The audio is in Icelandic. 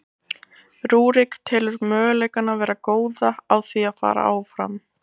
Rúrik telur möguleikana vera góða á því að fara áfram.